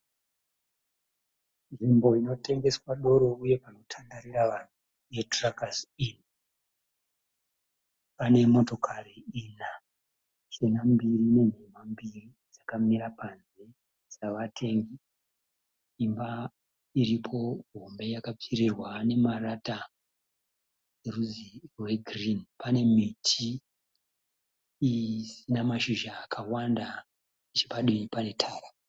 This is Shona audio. Nzvimbo inotengeswa doro uye panotandarira vanhu, yeTruckers Inn, pane motokari ina , chena mbiri nenhema mbiri dzakamira panze dzavatengi. Imba iripo hombe yakapfiririrwa nemarata erudzi rwegirini. Pane miti isina mashizha akawanda nechepadivi pane tara.